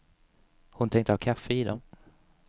Hon tänkte ha kaffe i dem.